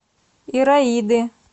ираиды